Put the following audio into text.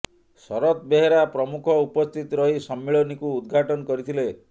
ଶରତ ବେହେରା ପ୍ରମୁଖ ଉପସ୍ଥିତ ରହି ସମ୍ମିଳନୀକୁ ଉଦଘାଟନ କରିଥିଲେ